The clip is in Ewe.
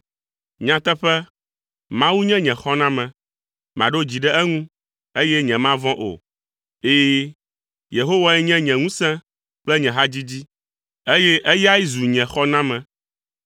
Nyateƒe, Mawu nye nye xɔname. Maɖo dzi ɖe eŋu, eye nyemavɔ̃ o. Ɛ̃, Yehowae nye nye ŋusẽ kple nye hadzidzi, eye eyae zu nye xɔname